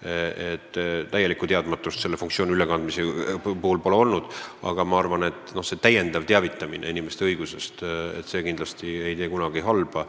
seega täielikku teadmatust pole selle funktsiooni ülekandmise puhul olnud, aga ega täiendav teavitamine inimeste õigustest ei tee kunagi halba.